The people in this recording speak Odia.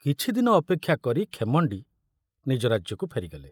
କିଛିଦିନ ଅପେକ୍ଷା କରି ଖେମଣ୍ଡି ନିଜ ରାଜ୍ୟକୁ ଫେରିଗଲେ।